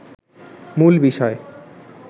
মূল বিষয়